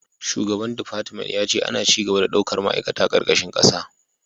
Shugaba defartment ya ce ana ci gaba da daukar ma'aikata karkashin kasa